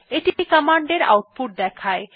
এটি কমান্ড এর আউটপুট দেখায়